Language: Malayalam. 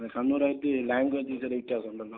കണ്ണൂർ ആയിട്ട് ലാംഗ്വേജിന് ചെറിയ വ്യത്യാസം ഉണ്ടല്ലോ.